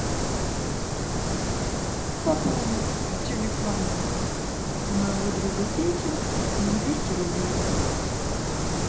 пополни телефон моего друга пети на двести рублей